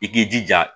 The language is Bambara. I k'i jija